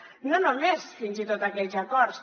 i no només fins i tot aquells acords